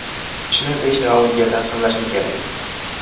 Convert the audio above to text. Kuchni besh raundga taqsimlashim kerak.